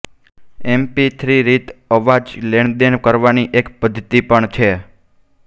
MP3 રીત અવાજ લેણદેણ કરવાની એક પદ્ધતિ પણ છે